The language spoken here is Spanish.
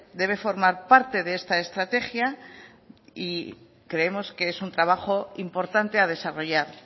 debe formar parte de esta estrategia y creemos que es un trabajo importante a desarrollar